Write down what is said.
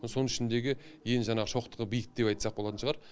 соның ішіндегі ең жаңағы шоқтығы биік деп айтсақ болатын шығар